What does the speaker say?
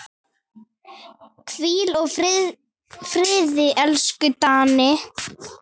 Hvíl í friði, elsku Danni.